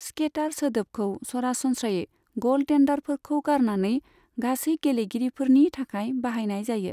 Scatter सोदोबखौ सरासनस्रायै ग'लटेन्डारफोरखौ गारनानै गासै गेलेगिरिफोरनि थाखाय बाहायनाय जायो।